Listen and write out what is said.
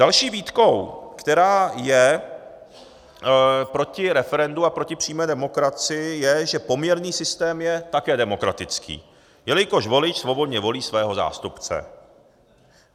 Další výtkou, která je proti referendu a proti přímé demokracii, je, že poměrný systém je také demokratický, jelikož volič svobodně volí svého zástupce.